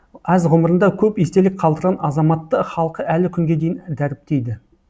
аз ғұмырында көп естелік қалдырған азаматты халқы әлі күнге дейін дәріптейді